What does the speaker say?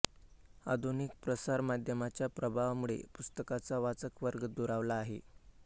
आधुनिक प्रसारमाध्यमांच्या प्रभावांमुळे पुस्तकांचा वाचक वर्ग दुरावला आहे